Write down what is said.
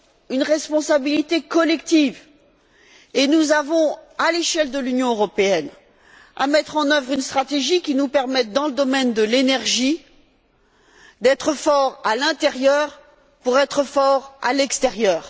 une responsabilité collective et nous avons, à l'échelle de l'Union européenne, à mettre en œuvre une stratégie qui nous permette, dans le domaine de l'énergie, d'être forts à l'intérieur pour être forts à l'extérieur.